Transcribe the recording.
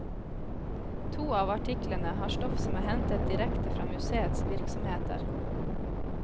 To av artiklene har stoff som er hentet direkte fra museets virksomheter.